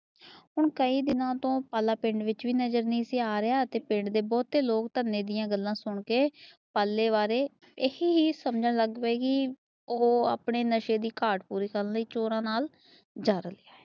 ਹੁਣ ਕਈ ਦਿਨਾਂ ਤੋਂ ਪਾਲਾ ਪਿੰਡ ਵਿਚ ਵੀ ਨਜ਼ਰ ਨਹੀਂ ਸੀ ਆ ਰਿਹਾ। ਤੇ ਪਿੰਡ ਦੇ ਬਹੁਤੇ ਲੋਕ ਧੰਨੇ ਦੀਆ ਗੱਲਾਂ ਸੁਣ ਕੇ ਪਾਲੇ ਬਾਰੇ ਇਹੀ ਹੀ ਸਮਝਣ ਲੱਗ ਗਏ। ਕੀ ਉਹ ਆਪਣੇ ਨਸ਼ੇ ਦੀ ਘਾਟ ਪੂਰੀ ਕਰਨ ਵਾਸਤੇ ਚੋਰਾਂ ਨਾਲ ਜਾ ਰਿਹਾ।